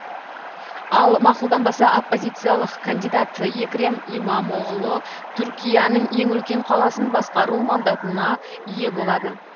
ал мақұлданбаса оппозициялық кандидат екрем имамоғлы түркияның ең үлкен қаласын басқару мандатына ие болады